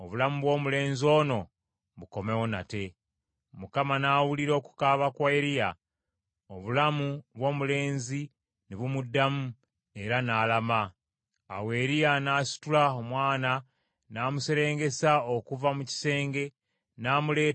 Awo Eriya n’asitula omwana n’amuserengesa okuva mu kisenge n’amuleeta mu nnyumba, n’amuwa nnyina, n’amugamba nti, “Laba mutabani wo mulamu!”